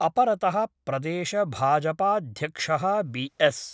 अपरत: प्रदेशभाजपाध्यक्ष: B S